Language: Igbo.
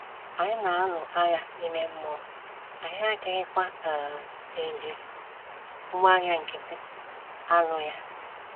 Anyị na-alụ agha ime mmụọ, anyị adịghịkwa um eji ngwá agha nkịtị alụ ya.